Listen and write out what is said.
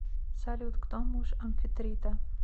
салют кто муж амфитрита